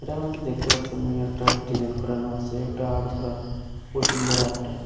এখানে হয়তো দেখতে পারছি আমি একটা ডিজাইন করানো আছে একটা আর করা বসুন্ধরা একটা।